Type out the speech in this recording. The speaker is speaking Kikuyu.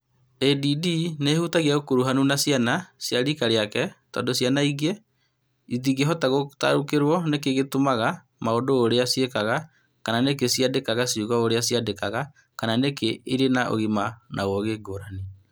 ADD nĩ ĩhutagia ũkuruhanu na ciana cia riika rĩake tondũ ciana iria ingĩ itingĩhota gũtaũkĩrũo nĩkĩ ciĩkaga maũndũ ũrĩa ciĩkaga, kana nĩkĩ ciandĩkaga ciugo ũrĩa ciandĩkaga, kana nĩkĩ irĩ na ũgima wa ũũgĩ ngũrani.